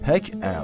Pək ə'la.